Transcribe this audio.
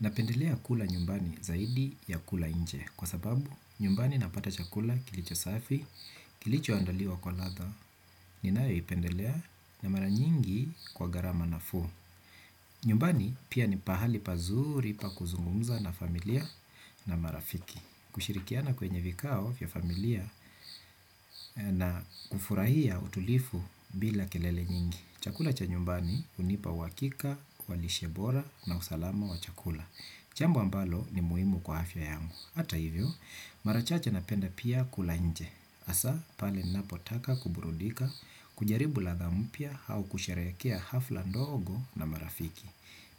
Napendelea kula nyumbani zaidi ya kula nje kwa sababu nyumbani napata chakula kilicho safi, kilicho andaliwa kwa ladha, ninayo ipendelea na mara nyingi kwa gharama nafuu. Nyumbani pia ni pahali pazuri pa kuzungumza na familia na marafiki. Kushirikiana kwenye vikao vya familia na kufurahia utulivu bila kelele nyingi. Chakula cha nyumbani hunipa uhakika, kwa lishebora na usalama wa chakula. Jambo ambalo ni muhimu kwa afya yangu. Hata hivyo, mara chache napenda pia kula nje. Hasa, pale ninapotaka kuburudika, kujaribu ladha mpya au kusherehekea hafla ndogo na marafiki.